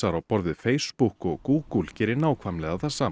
á borð við Facebook og Google geri nákvæmlega það sama